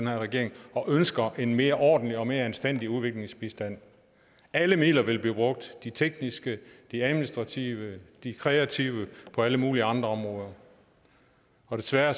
her regering og ønsker en mere ordentlig og mere anstændig udviklingsbistand alle midler vil blive brugt de tekniske de administrative de kreative på alle mulige andre områder og desværre